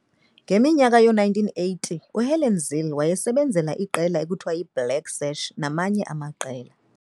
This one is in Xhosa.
ngeminyaka yoo-1980, uHelen Zille wasebenzela iqela ekuthiwa yi-"Black Sach" namanye amaqela.